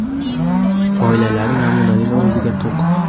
oilalari namunali va o‘ziga to‘q.